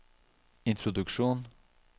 introduksjon